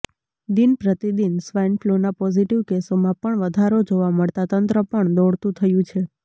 દિનપ્રતિદિન swine ફ્લૂના positive કેસોમાં પણ વધારો જોવા મળતા તંત્ર પણ દોડતુ થયું છે